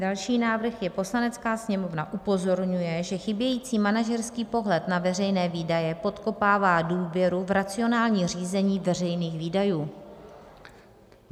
Další návrh je: Poslanecká sněmovna upozorňuje, že chybějící manažerský pohled na veřejné výdaje podkopává důvěru v racionální řízení veřejných výdajů.